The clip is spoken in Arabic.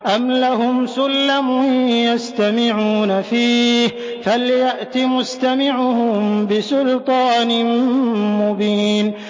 أَمْ لَهُمْ سُلَّمٌ يَسْتَمِعُونَ فِيهِ ۖ فَلْيَأْتِ مُسْتَمِعُهُم بِسُلْطَانٍ مُّبِينٍ